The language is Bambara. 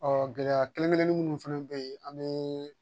gɛlɛya kelen kelennin minnu fɛnɛ be yen an be